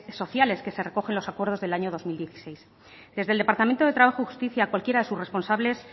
sociales que se recogen en los acuerdos del año dos mil dieciséis desde el departamento de trabajo y justicia cualquiera de sus responsables